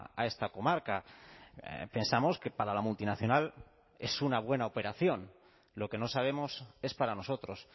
a esta comarca pensamos que para la multinacional es una buena operación lo que no sabemos es para nosotros